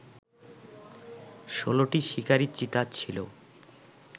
১৬টি শিকারি চিতা ছিল